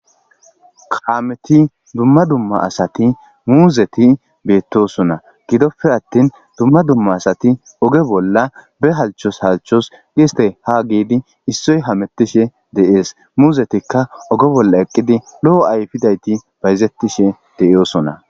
kaameti dumma dumma asati muuzeti beettosona gidoppe attin dumma dumma asati oge bolla be halchos halchos giste ha geedi issoy hamettishe de7ees muuzetikka oge bolla eqqidi lo7o ayfidayti bayzettishe de'iyoosona